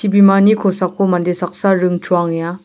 ibimani kosako mande saksa ring choangenga.